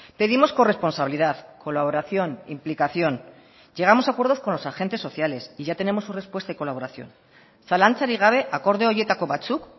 pedimos corresponsabilidad colaboración implicación llegamos a acuerdos con los agentes sociales y ya tenemos su respuesta y colaboración zalantzarik gabe akordio horietako batzuk